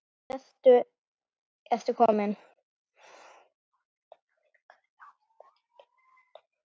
Af jörðu ertu kominn.